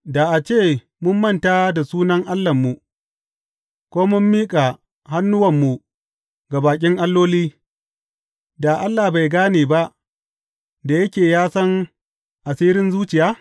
Da a ce mun manta da sunan Allahnmu ko mun miƙa hannuwanmu ga baƙin alloli, da Allah bai gane ba, da yake ya san asiran zuciya?